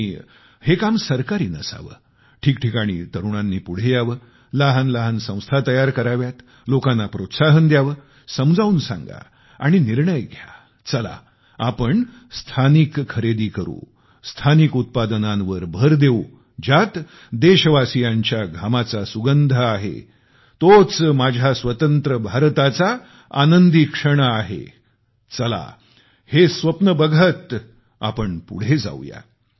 आणि हे काम सरकारी नसावे ठिकठिकाणी तरुणांनी पुढे यावे लहान लहान संघटना तयार कराव्यात लोकांना प्रोत्साहन द्यावे समजावून सांगा आणि निर्णय घ्या चला आपण स्थानिक उत्पादनांची खरेदी करू स्थानिक उत्पादनांवर भर देऊ ज्यात देशवासीयांच्या घामाचा सुगंध आहे तोच माझ्या स्वतंत्र भारताचा आनंदी क्षण आहे चला हे स्वप्न बघत आपण पुढे जाऊया